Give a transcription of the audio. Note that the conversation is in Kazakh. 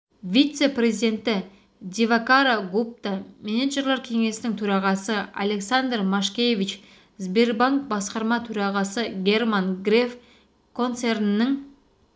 вице-президенті дивакара гупта менеджерлер кеңесінің төрағасы александр машкевич сбербанк басқарма төрағасы герман греф концернінің